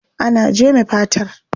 Ana jeme fatar.